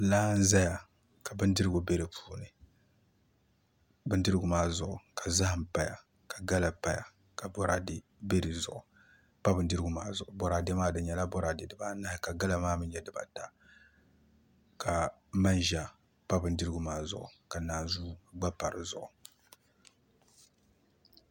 Laa n ʒɛya ka bindirigu bɛ di puuni bindirigu maa zuɣi ka zaham paya ka gala paya ka boraadɛ bɛ bindirigu maa zuɣu boraadɛ maa di nyɛla boraadɛ dibanahi ka gala maa mii nyɛ dibata ka manʒa pa bindirigu maa zuɣu ka naanzuu gba pa di zuɣu